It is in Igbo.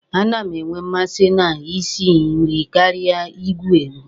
A na m enwe mmasị na ị si nri karịa i gwu egwu.